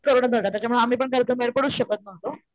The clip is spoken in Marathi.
कोरोना होता त्यामुळं आम्ही पण घरातून बाहेर पडूच शकत नहुतो.